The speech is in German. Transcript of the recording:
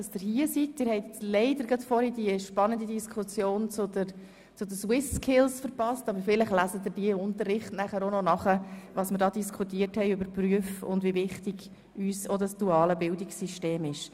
Leider haben Sie die spannende Diskussion über die Swiss-Skills verpasst, aber vielleicht lesen Sie nachher im Unterricht nach, was wir über die Berufswelt gesagt haben, und wie wichtig uns das duale Bildungssystem ist.